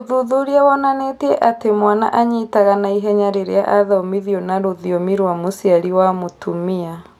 Ũthuthuria wonanĩtie atĩ mwana anyitaga naihenya rĩrĩa athomithio na rũthiomi rwa mũciari wa mũtumia